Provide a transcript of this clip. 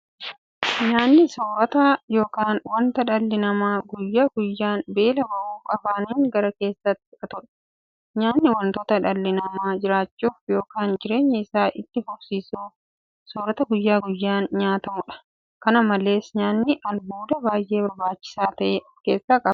Nyaanni soorota yookiin wanta dhalli namaa guyyaa guyyaan beela ba'uuf afaaniin gara keessaatti fudhatudha. Nyaanni wanta dhalli namaa jiraachuuf yookiin jireenya isaa itti fufsiisuuf soorata guyyaa guyyaan nyaatamudha. Kana malees nyaanni albuuda baay'ee barbaachisaa ta'e kan ofkeessaa qabudha.